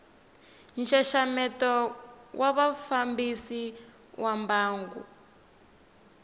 nxaxameto wa vafambisi va mbangu